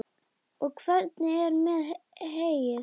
Og hvernig er með heyið?